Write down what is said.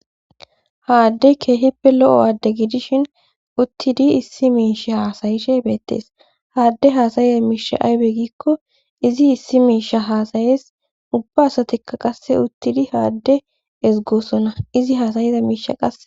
haaddey keehippe lo7o aadde gidishin uttidi issi miisha haasayishe beettees haadde haasayiza miisha aybe gikko izi issi miisha haasayees ubba asatikka qasse uttidi haadde ezgoosona izi haasayiza miisha qase